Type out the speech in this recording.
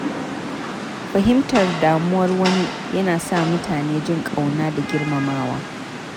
Fahimtar damuwar wani ya na sa mutane jin ƙauna da girmamawa.